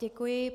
Děkuji.